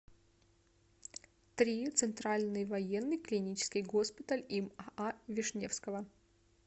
три центральный военный клинический госпиталь им аа вишневского